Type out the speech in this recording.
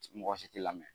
Mɔgɔ si ti lamɛn